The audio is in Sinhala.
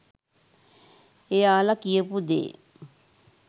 එයාලා කියපු දේ